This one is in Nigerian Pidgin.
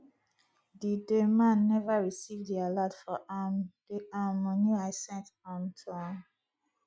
the the man never receive the alert for um the um money i sent um to am